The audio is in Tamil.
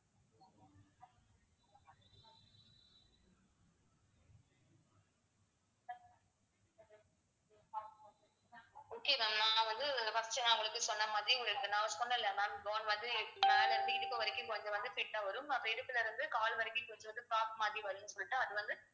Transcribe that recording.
okay தான் ma'am நான் வந்து first நான் உங்களுக்கு சொன்ன மாதிரி உங்களுக்கு நான் சொன்னேன்ல ma'am gown வந்து மேல இருந்து இடுப்பு வரைக்கும் கொஞ்சம் வந்து fit வரும் அந்த இடுப்புல இருந்து கால் வரைக்கும் கொஞ்சம் வந்து top மாத்தி வரும்னு சொல்லிட்டு அது வந்து